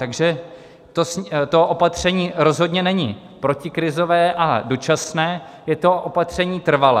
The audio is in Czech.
Takže to opatření rozhodně není protikrizové a dočasné, je to opatření trvalé.